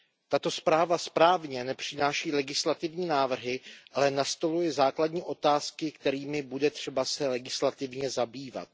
Tato zpráva správně nepřináší legislativní návrhy, ale nastoluje základní otázky, kterými bude třeba se legislativně zabývat.